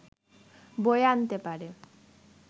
বয়ে আনতে পারে!